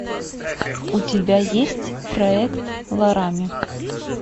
у тебя есть проект ларами